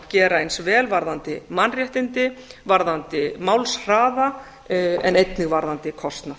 gera eins vel varðandi mannréttindi varðandi málshraða en einnig verðandi kostnað